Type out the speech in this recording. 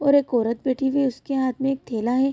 और एक औरत बैठी हुआ है उसके हाथ में एक थैला है।